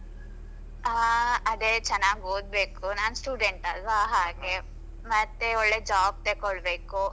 ಆ ಅದೇ ಚೆನ್ನಾಗಿ ಓದ್ಬೇಕು ನಾನ್ student ಅಲ್ವ ಹಾಗೆ ಮತ್ತೆ ಒಳ್ಳೆ job ತಕ್ಕೊಳ್ಬೇಕು.